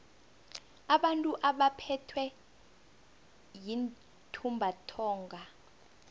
abantu abaphethwe yintumbantonga